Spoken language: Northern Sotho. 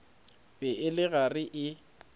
be e le gare e